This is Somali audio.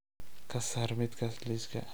ka saar midkaas liiska